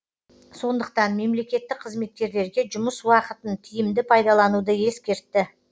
сондықтан мемлекеттік қызметкерлерге жұмыс уақытын тиімді пайдалануды ескертті